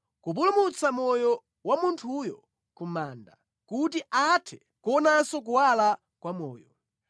kupulumutsa moyo wa munthuyo ku manda, kuti athe kuonanso kuwala kwa moyo.